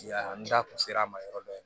Ya n da tun sera a ma yɔrɔ dɔ ye